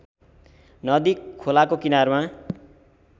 नदी खोलाको किनारमा